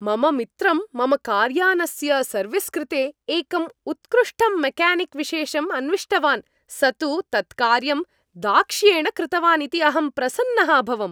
मम मित्रं मम कार्यानस्य सर्विस् कृते एकं उत्कृष्टं मेक्यानिक् विशेषं अन्विष्टवान्, स तु तत्कार्यं दाक्ष्येण कृतवान् इति अहं प्रसन्नः अभवम्।